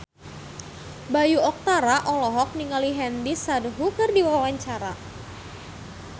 Bayu Octara olohok ningali Nandish Sandhu keur diwawancara